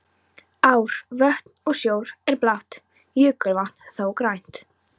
Ár, vötn og sjór er blátt, jökulvatn þó grænt.